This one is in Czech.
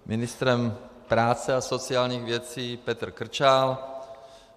Ministrem práce a sociálních věcí Petr Krčál.